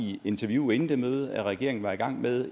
i interview inden det møde at regeringen var i gang med